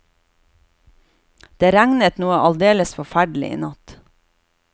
Det regnet noe aldeles forferdelig i natt.